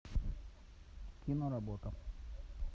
киноработа